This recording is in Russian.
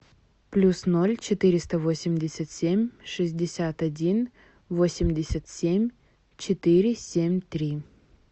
плюс ноль четыреста восемьдесят семь шестьдесят один восемьдесят семь четыре семь три